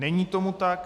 Není tomu tak.